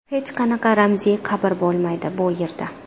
Hech qanaqa ramziy qabr bo‘lmaydi, bu yerda.